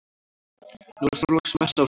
Nú er Þorláksmessa á sumar.